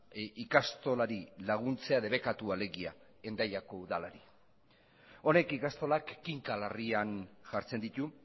ikastolari laguntzea debekatua alegia hendaiako udalari honek ikastolak kinka larrian jartzen ditu